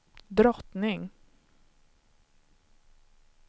drottning